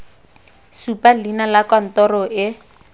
supa leina la kantoro e